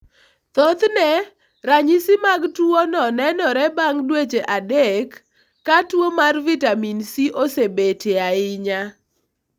Thothne, ranyisi mag tuwono nenore bang ' dweche 3 ka tuo mar vitamin C osebetie ahinya.